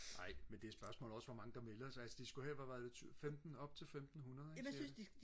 nej men det er spørgsmålet også hvor mange der melder sig altså de skulle have hvad var det femten op til femtenhundrede ikke cirka